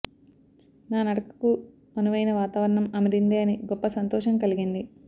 నా నడకకు అనువయిన వాతావరణం అమిరిందే అని గొప్ప సంతోషం కలిగింది